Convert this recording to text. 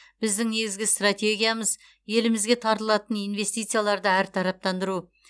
біздің негізгі стратегиямыз елімізге тартылатын инвестицияларды әртараптандыру